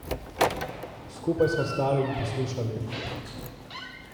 Skupaj sva stali in poslušali.